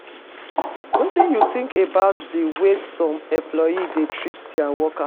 Wetin you think about di way some employers dey treat dia workers?